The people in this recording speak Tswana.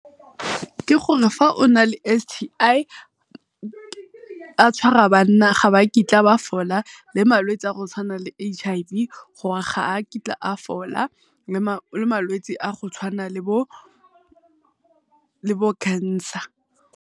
Ke gore fa on le S_T_I, a tshwara banna ga ba kitla ba fola le malwetse a go tshwana le bo H_I_V gore ga a kitla a fola le malwetswe a go tshwana le bo le bo cancer.